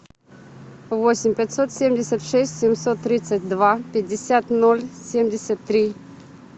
восемь пятьсот семьдесят шесть семьсот тридцать два пятьдесят ноль семьдесят три